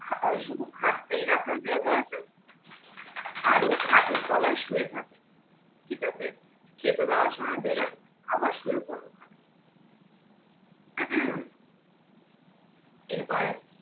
শুধু খাটটাই রাখার জায়গা আছে আর ও খাটের তলায় শুয়ে থাকে, ঠিক আছে? খেতে দেওয়ার সময় বের হয়, আবার শুয়ে পড়ে ওখানে। এইবার